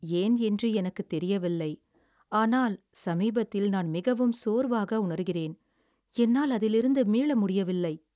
"ஏன் என்று எனக்குத் தெரியவில்லை, ஆனால் சமீபத்தில் நான் மிகவும் சோர்வாக உணர்கிறேன், என்னால் அதிலிருந்து மீள முடியவில்லை."